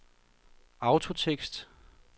autotekst